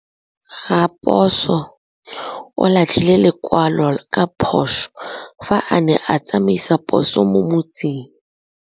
Raposo o latlhie lekwalô ka phosô fa a ne a tsamaisa poso mo motseng.